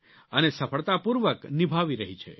અને સફળતાપૂર્વક નિભાવી રહી છે